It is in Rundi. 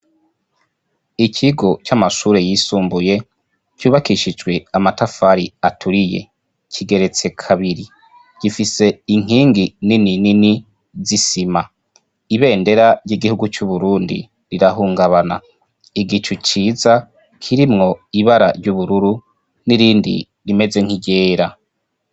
Ikigo c'amashuri yisumbuye cubakishijwe amatafari aturiye. Kigeretse kabiri, gifise inkengi nini nini z'isima. Ibendera ry'igihugu c'Uburundi rirahungabana. Igicu ciza kirimwo ibara ry'ubururu n'irindi rimeze nk'iryera.